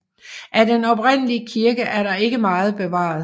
Af den oprindelige kirke er der ikke meget bevaret